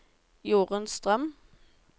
Jorunn Strøm